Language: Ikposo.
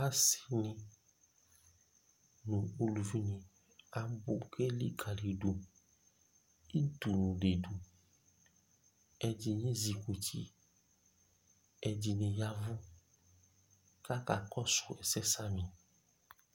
asii nʋ ʋlʋvi ni akpɔ ɔka likalidʋ dʋ ɛtʋ didʋ, ɛdini ɛzukʋti, ɛdini yavʋ kʋ aka kɔsʋ ɛsɛ